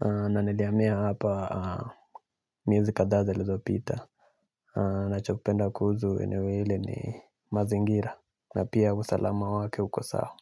Nanilihamia hapa miezi kadhaa zilizopita. Nachopenda kuhusu eneo hili ni mazingira. Na pia usalama wake uko sawa.